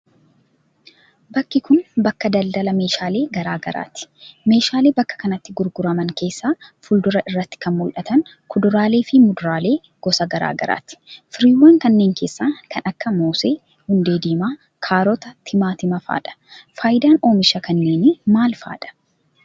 Bakki kun, bakka daladala meeshaalee graa garaati. Meeshaalee bakka kanatti gurguraman keessaa fuuldura irratti kan mul'atan kuduraalee fi muduraalee gosa garaa garaati. Firiiwwan kanneen keessaa kan akka : moosee, hundee diimaa, kaarota, timaatima faa dha? Faayidaan oomisha kanneenii maal faa dha?